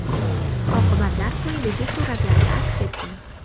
Oqibatlar quyidagi suratlarda aks etgan.